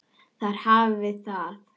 Þar hafiði það.